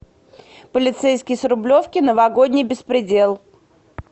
полицейский с рублевки новогодний беспредел